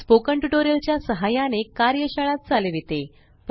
spoken tutorial च्या सहाय्याने कार्यशाळा चालविते